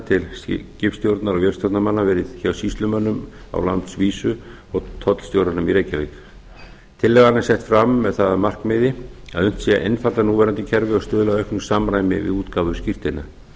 til skipstjórnar og vélstjórnarmanna verið hjá sýslumönnum á landsvísu og tollstjóranum í reykjavík tillagan er sett fram með það að markmiði að unnt sé að einfalda núverandi kerfi og stuðla að auknu samræmi við útgáfu skírteina